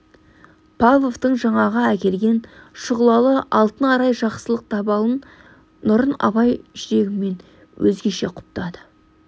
павловтың жаңағы әкелген шұғылалы алтын арай жақсылық дабылын нұрын абай жүрегімен өзгеше құптады